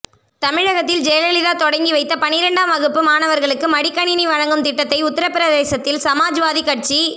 தமிழகத்தில் ஜெயலலிதா தொடங்கிவைத்த பனிரெண்டாம் வகுப்பு மாணவர்களுக்கு மடிக்கணினி வழங்கும் திட்டத்தை உத்தர பிரதேசத்தில் சமாஜ்வாதி கட்சி